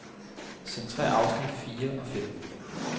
Centrér afsnit fire og fem.